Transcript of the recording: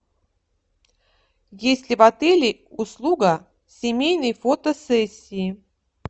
есть ли в отеле услуга семейной фотосессии